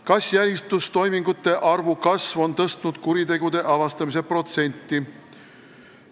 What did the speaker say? Kas jälitustoimingute arvu kasv on tõstnud kuritegude avastamise protsenti?